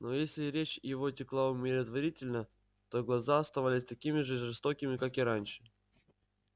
но если речь его текла умиротворительно то глаза оставались такими же жестокими как и раньше